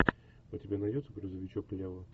у тебя найдется грузовичок лева